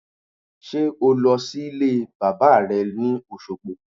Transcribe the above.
Sé o lọ sílé bàbá re ni Òsogbo?